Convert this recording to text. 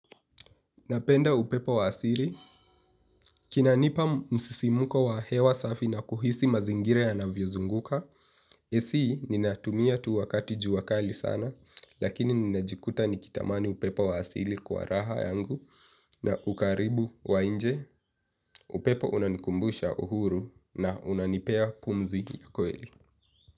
Napenda upepo wa asili. Kinanipa msisimko wa hewa safi na kuhisi mazingira yanavyozunguka. AC, ninatumia tu wakati jua kali sana, lakini ninajikuta nikitamani upepo wa asili kwa raha yangu na ukaribu wa nje. Upepo unanikumbusha uhuru na unanipea pumziko ya kweli.